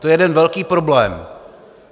To je jeden velký problém.